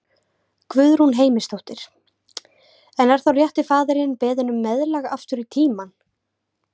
Guðrún Heimisdóttir: En er þá rétti faðirinn beðinn um meðlag aftur í tímann?